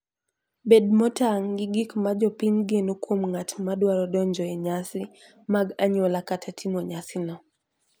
Bed motang' gi gik ma jopiny geno kuom ng'at madwaro donjo e nyasi mag anyuola kata timo nyasino.